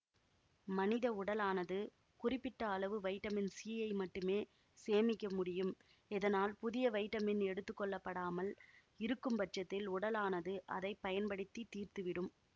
மனித உடலானது குறிப்பிட்ட அளவு வைட்டமின் சீயை மட்டுமே சேமிக்க முடியும் இதனால் புதிய வைட்டமின் எடுத்துக்கொள்ளப்படாமல் இருக்கும்பட்சத்தில் உடலானது அதை பயன்படுத்தி தீர்த்துவிடும்